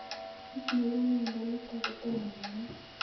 Kito neipu miondo nitok kotomo kenai